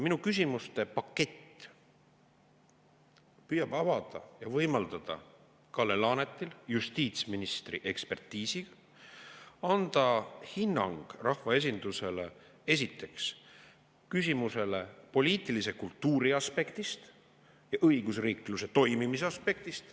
Minu küsimuste pakett püüab avada ja võimaldada Kalle Laanetil, justiitsministril, anda hinnang rahvaesindusele, esiteks, küsimusele poliitilise kultuuri aspektist ja õigusriikluse toimimise aspektist.